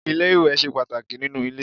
Ilé-iwẹ̀ ṣe pàtàkì nínú ilé.